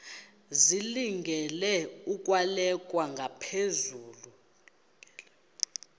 zilungele ukwalekwa ngaphezulu